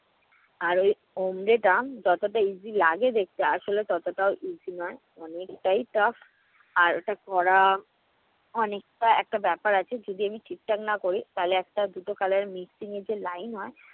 আর ওই omle টা যতটা easy লাগে দেখতে আসলে ততটাও easy নয়। অনেকটাই tough আর ওটা করা অনেকটা একটা ব্যাপার আছে। যদি আমি ঠিকঠাক না করি তাহলে একটা দুটা color এর mixing এ যে line হয়